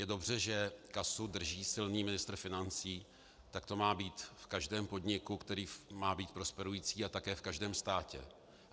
Je dobře, že kasu drží silný ministr financí, tak to má být v každém podniku, který má být prosperující, a také v každém státě.